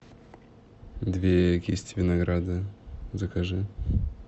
две кисти винограда закажи